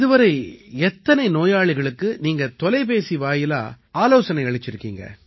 இதுவரை எத்தனை நோயாளிகளுக்கு நீங்க தொலைபேசி வாயிலா ஆலோசனை அளிச்சிருக்கீங்க